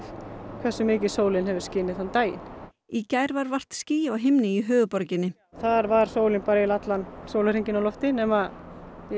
hversu mikið sólin hefur skinið þann daginn í gær var vart ský á himni í höfuðborginni þar var sólin eiginlega allan sólarhringinn á lofti nema